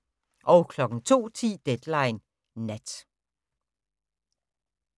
02:10: Deadline Nat